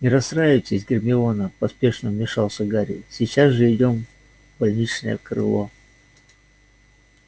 не расстраивайтесь гермиона поспешно вмешался гарри сейчас же идём в больничное крыло